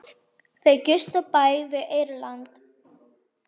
Þau gistu á bæ við Eyrarland.